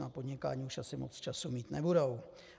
Na podnikání už asi moc času mít nebudou.